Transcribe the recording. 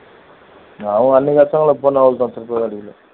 அவள் கஷ்டங்களை